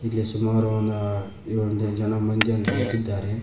ಇಲ್ಲಿ ಸುಮಾರು ಒಂದ್ ಹ ಎಳ್ಳು ಜನ ಮಂದಿ ನಿಂತಿದ್ದಾರೆ.